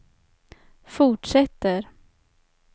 fortsätter